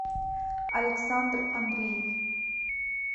александр андреев